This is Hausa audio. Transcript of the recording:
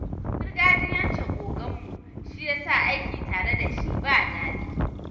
Gargajiyancin oganmu shi ya sa aiki tare da shi ba daɗi.